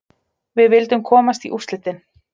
Við vildum komast í úrslitin.